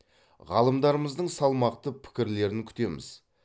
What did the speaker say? ғалымдарымыздың салмақты пікірлерін күтеміз